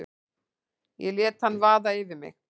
Ég lét hann vaða yfir mig.